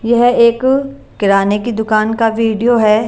यह एक किराने की दुकान का वीडियो है।